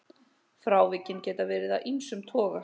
Frávikin geta verið af ýmsum toga.